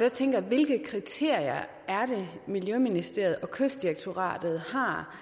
der tænker jeg hvilke kriterier er det miljøministeriet og kystdirektoratet har